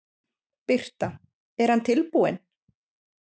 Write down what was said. Birta: En hann er tilbúinn?